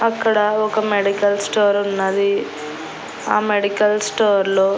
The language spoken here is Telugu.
అక్కడ ఒక మెడికల్ స్టోర్ ఉన్నది ఆ మెడికల్ స్టోర్ లో .